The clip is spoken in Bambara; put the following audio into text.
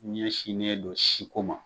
Ɲɛsinnen don si ko ma